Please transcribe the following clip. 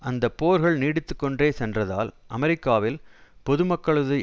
அந்த போர்கள் நீடித்து கொண்டே சென்றதால் அமெரிக்காவில் பொதுமக்களது